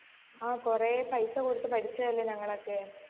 ആ കൊറേ പൈസ കൊടുത്ത് പഠിച്ചതല്ലേ ഞങ്ങളൊക്കെ